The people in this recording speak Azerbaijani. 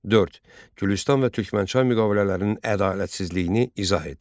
Dörd: Gülüstan və Türkmənçay müqavilələrinin ədalətsizliyini izah et.